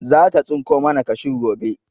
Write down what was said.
Zata tsinko mana kashu gobe.